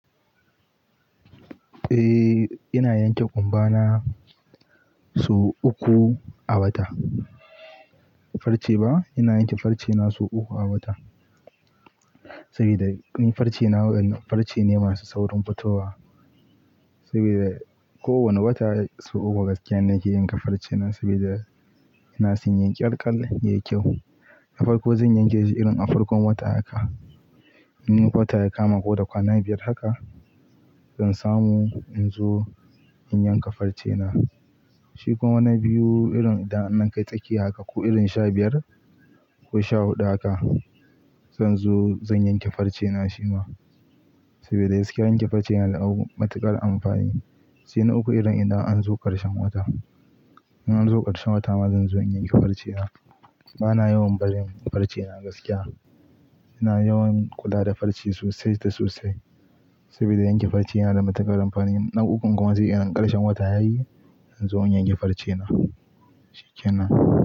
Eh, ina yanke ƙumba na sau uku a wata. Farce ba, ina yanke farce na sau uku a wata. Sabida ni farce na farce ne masu saurin fitowa. Sabida kowane wata sau uku gaskiya nake yanka farce na sabida ina son yayi ƙalƙal yayi kyau. A farko zan yanke shi irin a farkon wata haka. In wata ya kama ko da kwana biyar haka zan samu in zo in yanka farce na. Shi kuma wani biyu irin idan an kai tsakiya haka ko irin sha biyar ko sha huɗu haka zan zo zan yanke farce na shima. Sabida gaskiya yanke farce yana da matuƙar amfani, sai na uku irin idan an zo ƙarshen wata. Idan an zo ƙarshen wata ma zan zo in yanke farce na. Bana yawan barin farce na gaskiya. Ina yawan kula da farce sosai da sosai saboda yanke farce yana da matuƙar amfani. Na ukun kuma zai irin ƙarshen wata yayi in zo in yanke farce na, shikenan.